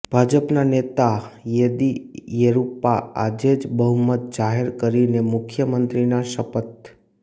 ભાજપના નેતા યેદીયુરપ્પા આજે જ બહુમત જાહેર કરીને મુખ્યમંત્રીના શપથ